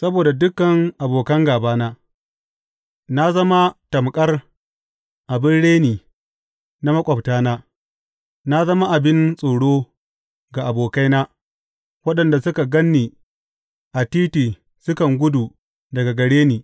Saboda dukan abokan gābana, Na zama tamƙar abin reni na maƙwabtana; na zama abin tsoro ga abokaina, waɗanda suka gan ni a titi sukan gudu daga gare ni.